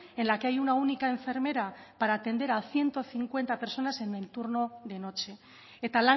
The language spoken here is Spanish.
en la que hay una única enfermera para atender a ciento cincuenta personas en el turno de noche eta